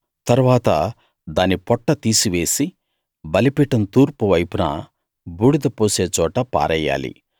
తరువాత దాని పొట్ట తీసివేసి బలిపీఠం తూర్పు వైపున బూడిద పోసే చోట పారెయ్యాలి